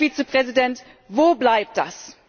Herr Vizepräsident, wo bleibt das?